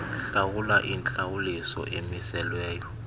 hlawula intlawuliso emiselweyo